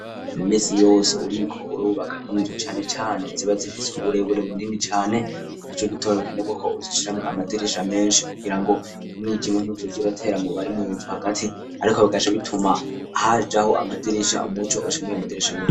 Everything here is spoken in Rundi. Iminsi yose uriko urubaka inzu cane cane ziba zifise uburebure bunini cane nico gituma bikenegwa ko uziciramo amadirisha menshi kugira ngo umwijima ntuzoze uratera mu bari munzu hagati ariko bigaca bituma hajaho amadirisha umuco ugaca mwayo madirisha nyene.